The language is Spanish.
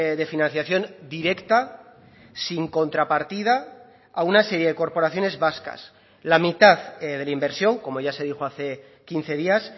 de financiación directa sin contrapartida a una serie de corporaciones vascas la mitad de la inversión como ya se dijo hace quince días